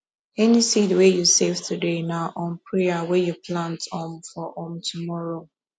any seed wey you save today na um prayer wey you plant um for um tomorrow